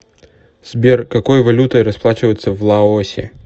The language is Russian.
сбер какой валютой расплачиваются в лаосе